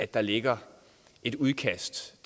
der ligger et udkast